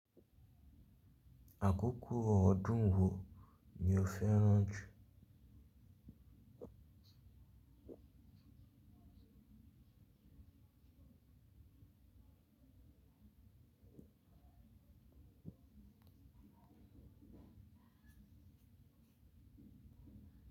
Àkókò ọdún wo ni o fẹ́ ránjù?